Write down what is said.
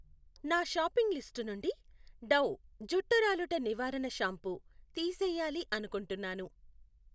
నా shopping list నుండి Dove జుట్టు రాలుట నివారణ షాంపూ తీసేయాలి అనుకుంటున్నాను